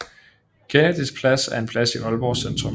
Kennydys Plads er en plads i Aalborg Centrum